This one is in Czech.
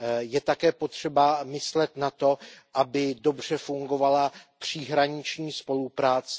Je také potřeba myslet na to, aby dobře fungovala příhraniční spolupráce.